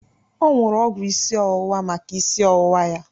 O nuru ọgwụ isi ọwụwa maka isi ọwụwa ya.